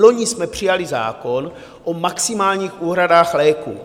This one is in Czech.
Loni jsme přijali zákon o maximálních úhradách léků.